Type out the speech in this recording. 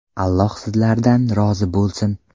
Alloh sizlardan rozi bo‘lsin.